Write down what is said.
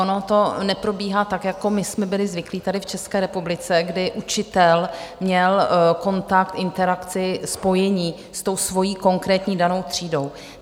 Ono to neprobíhá tak, jako my jsme byli zvyklí tady v České republice, kdy učitel měl kontakt, interakci, spojení s tou svojí konkrétní danou třídou.